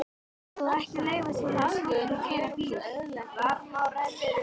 Það á ekki að leyfa svoleiðis fólki að keyra bíl!